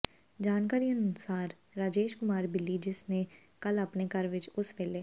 ਜਾਣਕਾਰੀ ਅਨੁਸਾਰ ਰਾਜੇਸ਼ ਕੁਮਾਰ ਬੱਲੀ ਜਿਸ ਨੇ ਕੱਲ੍ਹ ਆਪਣੇ ਘਰ ਵਿਚ ਉਸ ਵੇਲੇ